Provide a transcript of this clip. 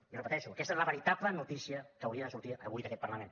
i repeteixo aquesta és la veritable notícia que hauria de sortir avui d’aquest parlament